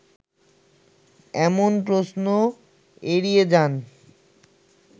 এমন প্রশ্ন এড়িয়ে যান